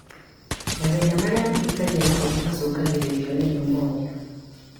Mathĩna marĩa mahutagia gĩthũri macũngagĩrĩrio nĩ neumonia